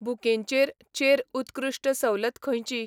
बुकेंचेर चेर उत्कृश्ट सवलत खंयची?